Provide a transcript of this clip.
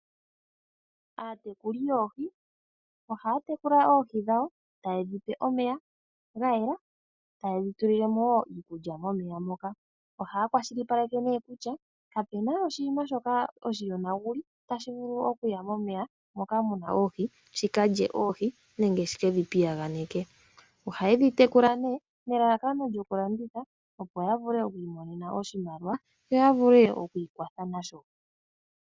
Aatekuli yoohi ohaa tekula oohi dhawo taye dhi pe omeya ga yela, taye dhi tulile mo wo iikulya momeya moka. Ohaa kwashilipaleke kutya kapu na oshinima shoka oshiyonaguli, tashi vulu okuya momeya moka mu na oohi shi ka lye oohi nenge shi ke dhi piyaganeke. Ohaye dhi tekula nelalakano lyokulanditha, opo ta vule okwiinonena oshimaliwa, yo ya vule okwiikwatha nasho.